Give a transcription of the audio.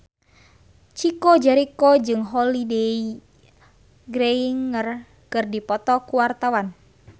Chico Jericho jeung Holliday Grainger keur dipoto ku wartawan